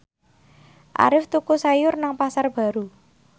Arif tuku sayur nang Pasar Baru